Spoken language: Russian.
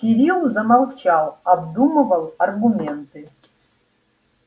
кирилл замолчал обдумывал аргументы